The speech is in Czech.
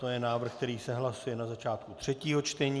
To je návrh, který se hlasuje na začátku třetího čtení.